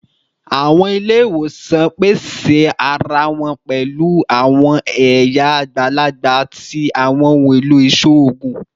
Awọn ile-iwosan pese ara wọn pẹlu awọn ẹya agbalagba ti awọn ohun elo iṣoogun